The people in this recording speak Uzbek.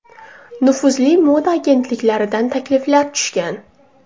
Nufuzli moda agentliklaridan takliflar tushgan.